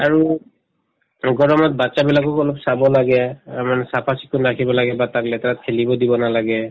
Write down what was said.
আৰু গৰমত batches বিলাকক অলপ চাব লাগে অ মানে চাফা-চিকুণ ৰাখিব লাগে বা তাক লেতেৰাত খেলিব দিব নালাগে